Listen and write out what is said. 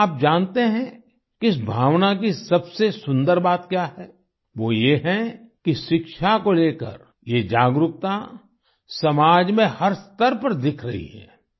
क्या आपने जानते हैं कि इस भावना की सबसे सुन्दर बात क्या है वो ये है कि शिक्षा को लेकर ये जागरूकता समाज में हर स्तर पर दिख रही है